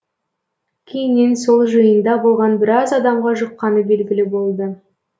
кейіннен сол жиында болған біраз адамға жұққаны белгілі болды